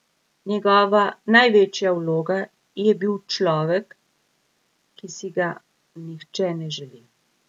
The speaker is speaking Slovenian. Njegova največja vloga je bil človek, ki si ga nihče ne želi.